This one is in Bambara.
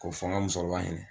Ko fɔ n ga musokɔrɔba ɲɛnɛ